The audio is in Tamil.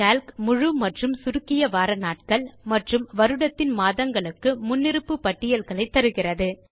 கால்க் முழு மற்றும் சுருக்கிய வார நாட்கள் மற்றும் வருடத்தின் மாதங்களுக்கு முன்னிருப்பு பட்டியல்களை தருகிறது